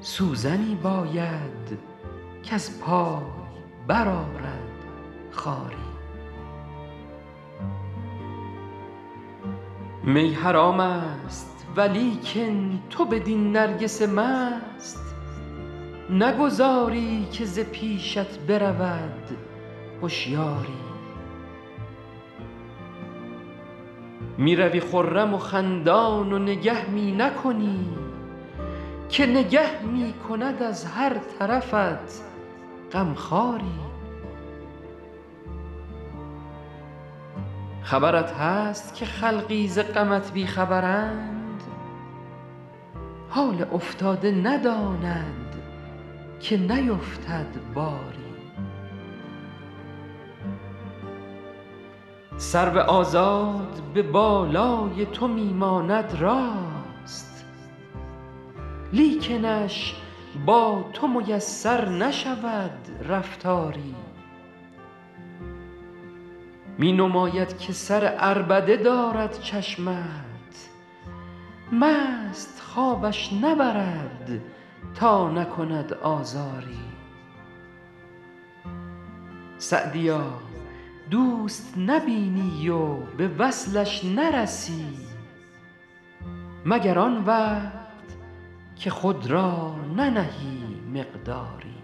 سوزنی باید کز پای برآرد خاری می حرام است ولیکن تو بدین نرگس مست نگذاری که ز پیشت برود هشیاری می روی خرم و خندان و نگه می نکنی که نگه می کند از هر طرفت غم خواری خبرت هست که خلقی ز غمت بی خبرند حال افتاده نداند که نیفتد باری سرو آزاد به بالای تو می ماند راست لیکنش با تو میسر نشود رفتاری می نماید که سر عربده دارد چشمت مست خوابش نبرد تا نکند آزاری سعدیا دوست نبینی و به وصلش نرسی مگر آن وقت که خود را ننهی مقداری